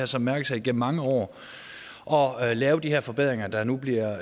som mærkesag igennem mange år år at lave de her forbedringer der nu bliver